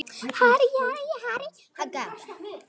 Einn af þessum átta, sko.